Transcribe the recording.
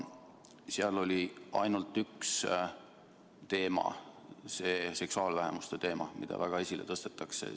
Seal oli ainult üks teema, see seksuaalvähemuste teema, mida väga esile tõstetakse.